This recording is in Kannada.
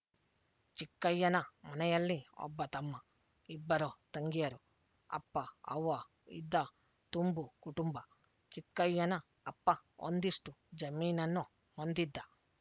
ಚಿಕ್ಕಯ್ಯನ ಮನೆಯಲ್ಲಿ ಒಬ್ಬ ತಮ್ಮ ಇಬ್ಬರು ತಂಗಿಯರು ಅಪ್ಪ ಅವ್ವ ಇದ್ದ ತುಂಬು ಕುಟುಂಬ ಚಿಕ್ಕಯ್ಯನ ಅಪ್ಪ ಒಂದಿಷ್ಟು ಜಮೀನನ್ನು ಹೊಂದಿದ್ದ